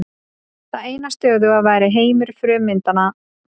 Það eina stöðuga væri heimur frummyndanna.